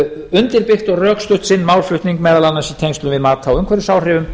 undirbyggt og rökstutt sinn málflutning meðal annars í tengslum við mat á umhverfisáhrifum